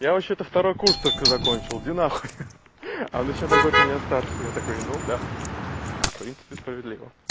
я вообще-то второй курс только закончил иди нахуй она ещё на год меня старше я такой ну да в принципе справедливо